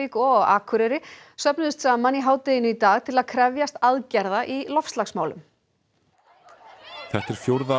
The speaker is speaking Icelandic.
og á Akureyri söfnuðust saman í hádeginu í dag til að krefjast aðgerða í loftslagsmálum þetta er fjórða